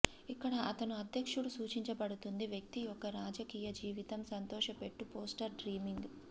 ఇక్కడ అతను అధ్యక్షుడు సూచించబడుతుంది వ్యక్తి యొక్క రాజకీయ జీవితం సంతోషపెట్టు పోస్టర్ డ్రీమింగ్